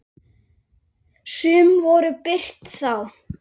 Hvað þýða nýju lögin?